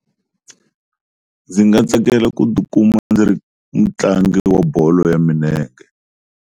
Ndzi nga tsakela ku tikuma ndzi ri mutlangi wa bolo ya minenge.